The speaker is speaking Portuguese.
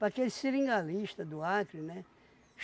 Para aquele seringalista do Acre, né?